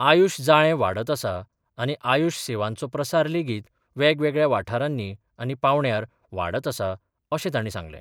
आयुश जाळे वाडत आसा आनी आयुश सेवांचो प्रसार लेगीत वेगवेगळ्या वाठारानी आनी पावंड्यार वाडत आसा अशे ताणी सांगले.